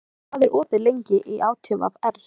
Svafa, hvað er opið lengi í ÁTVR?